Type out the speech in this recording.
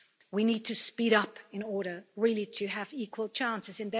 We need to speed up in order really to have equal chances.